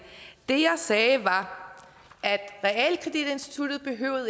det jeg sagde var at realkreditinstituttet